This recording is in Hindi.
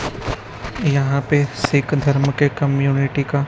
यहां पे सिख धर्म के कम्युनिटी का--